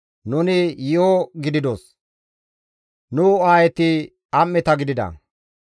Nuni yi7o gididos; nu aayeti am7eta gidida.